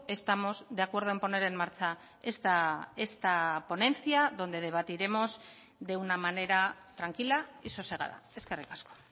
estamos de acuerdo en poner en marcha esta ponencia donde debatiremos de una manera tranquila y sosegada eskerrik asko